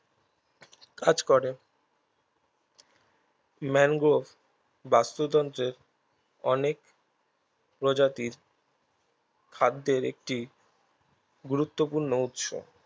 কাজ করে ম্যানগ্রোভ বাস্তুতন্ত্রের অনেক প্রজাতির খাদ্যের একটি গুরুত্বপূর্ণ উৎস